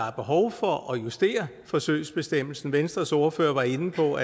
er behov for at justere forsøgsbestemmelsen venstres ordfører var inde på